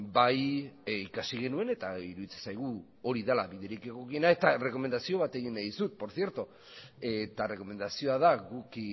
bai ikasi genuen eta iruditzen zaigu hori dela biderik egokiena eta errekomendazio bat egin nahi dizut eta errekomendazioa da guk